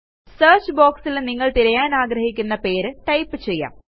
search boxൽ നിങ്ങൾ തിരയാനാഗ്രഹിക്കുന്ന പേര് ടൈപ്പ് ചെയ്യാം